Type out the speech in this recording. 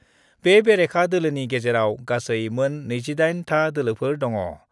बे बेरेखा दोलोनि गेजेराव गासै मोन 28 था दोलोफोर दङ।